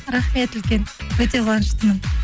рахмет үлкен өте қуаныштымын